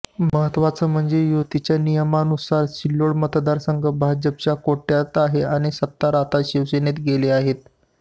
महत्त्वाचं म्हणजे युतीच्या नियमानुसार सिल्लोड मतदारसंघ भाजपच्या कोट्यात आहे आणि सत्तार आता शिवसेनेत गेले आहेत